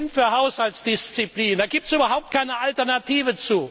Wir sind für Haushaltsdisziplin, dazu gibt es überhaupt keine Alternative!